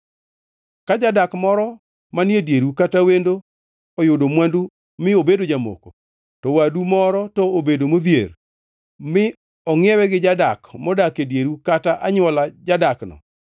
Ka jadak moro manie dieru kata wendo oyudo mwandu mi obedo jamoko, to wadu moro to obedo modhier, mi ongʼiewe gi jadak modak e dieru kata anywola jadakno,